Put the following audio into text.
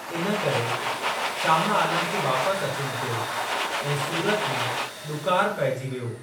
इन करे, शाह आलम खे वापस अचणो पियो ऐं सूरत में ॾुकार पइजी वियो।